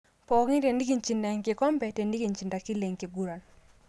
Pookin tenikinchinta enkilombe ,tenikichinta kila enkiguran.